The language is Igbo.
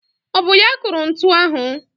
Ọ bụ ya kụrụ ntu ahụ?